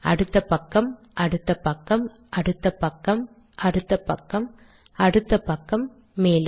அடுத்த பக்கம் அடுத்த பக்கம் அடுத்த பக்கம் அடுத்த பக்கம் அடுத்த பக்கம் மேலும்